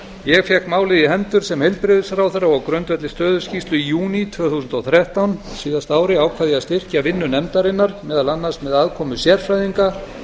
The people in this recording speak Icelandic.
ég fékk málið í hendur sem heilbrigðisráðherra og á grundvelli stöðuskýrslu í júní tvö þúsund og þrettán á síðasta ári ákvað ég að styrkja vinnu nefndarinnar meðal annars með aðkomu sérfræðinga